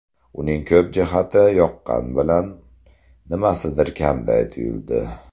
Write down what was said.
Uning ko‘p jihati yoqqani bilan, nimasidir kamday tuyuldi.